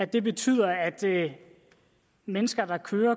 det betyder at at mennesker der kører